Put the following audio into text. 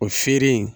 O feere